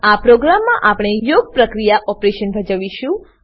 આ પ્રોગ્રામમાં આપણે યોગક્રિયા ઓપરેશન ભજવીશુ